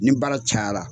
Ni baara cayara